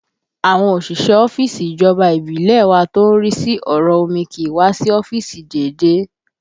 Àwọn òṣìṣẹ́ ọ́fíìsì ìjọba ìbílẹ̀ ẹ wa tó ń rí sí ọ̀rọ̀ omi kì í wá sí ọ́fíìsì déédéé